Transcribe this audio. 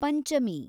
Panchami